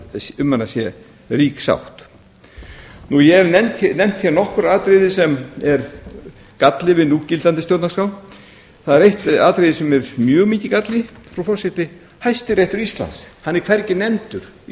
um hana sé rík sátt ég hef nefnt nokkur atriði sem er galli við núgildandi stjórnarskrá það er eitt atriði sem er mjög mikill galli frú forseti hæstiréttur íslands er hvergi nefndur í